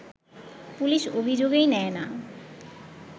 police অভিযোগই নেয় না